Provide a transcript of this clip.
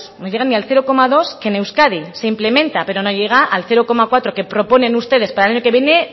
no llegan al cero coma dos que en euskadi se implementa pero no llega al cero coma cuatro que proponen ustedes para el año que viene